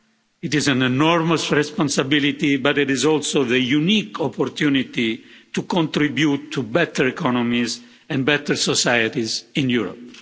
It is an enormous responsibility but it is also the unique opportunity to contribute to better economies and better societies in Europe.